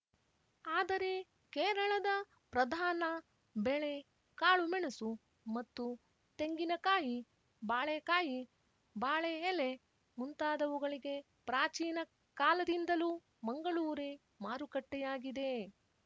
ಆದರೆ ಕೇರಳದ ಪ್ರಧಾನ ಬೆಳೆ ಕಾಳುಮೆಣಸು ಮತ್ತು ತೆಂಗಿನ ಕಾಯಿ ಬಾಳೆಕಾಯಿ ಬಾಳೆ ಎಲೆ ಮುಂತಾದವುಗಳಿಗೆ ಪ್ರಾಚೀನ ಕಾಲದಿಂದಲೂ ಮಂಗಳೂರೇ ಮಾರುಕಟ್ಟೆಯಾಗಿದೆ